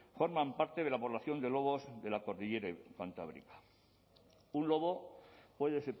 forman parte de la población de lobos de la cordillera cantábrica un lobo puede